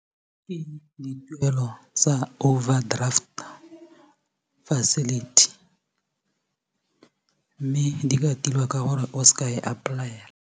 Ake dituelo tsa overdraft facility mme di ka tilwa ka gore o seka e apply-ela.